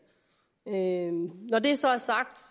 når det så er sagt